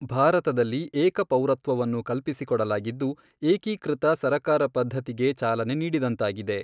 ಭಾರತದಲ್ಲಿ ಏಕ ಪೌರತ್ವವನ್ನು ಕಲ್ಪಿಸಿಕೊಡಲಾಗಿದ್ದು ಏಕೀಕೃತ ಸರಕಾರ ಪದ್ಧತಿಗೆ ಚಾಲನೆ ನೀಡಿದಂತಾಗಿದೆ.